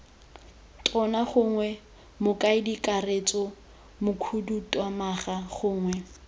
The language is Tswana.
tona gongwe mokaedikakaretso mokhuduthamaga gongwe